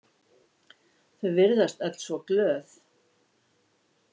Þau virðast öll svo glöð.